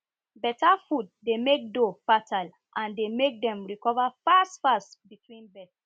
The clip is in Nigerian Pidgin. better food dey make doe fertile and dey make dem recover fast fast between births